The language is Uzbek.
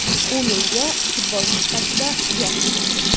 U menga futbolchi sifatida yoqadi.